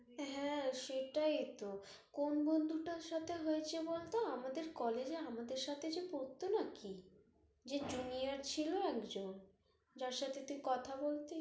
হ্যাঁ, সেটাই তহ কোন্ বন্ধুটার সাথে হয়েছে বলত, আমদের college এ আমাদের সাথে যে পরত নাকি, ওই যে junior ছিল একজন যার সাথে তুই কথা বলতি